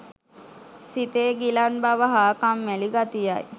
සිතේ ගිලන් බව හා කම්මැලි ගතියයි.